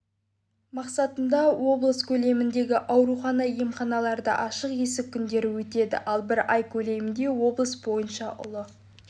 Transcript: мақсатында облыс көлеміндегі аурухана-емханаларда ашық есік күндері өтеді ал бір ай көлемінде облыс бойынша ұлы